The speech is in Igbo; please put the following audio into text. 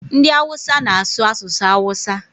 Ndị awụsa na-asụ asụsụ awụsa.